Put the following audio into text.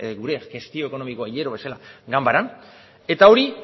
gureak gestio ekonomikoa hilero bezala ganbaran eta hori